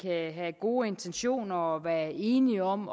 at have gode intentioner og være enige om